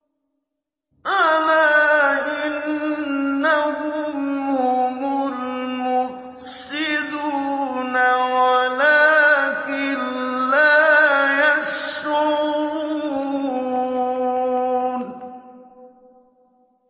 أَلَا إِنَّهُمْ هُمُ الْمُفْسِدُونَ وَلَٰكِن لَّا يَشْعُرُونَ